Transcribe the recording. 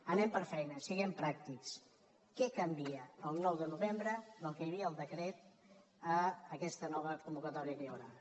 anem per feina siguem pràctics què canvia el nou de novembre del que hi havia al decret a aquesta nova convocatòria que hi haurà